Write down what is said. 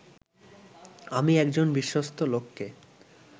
আমি একজন বিশ্বস্ত লোককে